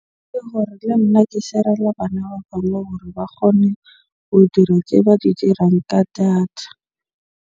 Ke hore le nna ke share-ele bana ba bang hore ba kgone ho dira tse ba di dirang ka data.